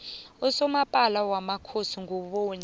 usomapala wamakhosi nguboni